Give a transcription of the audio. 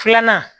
Filanan